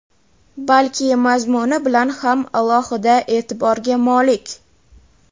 balki mazmuni bilan ham alohida e’tiborga molik.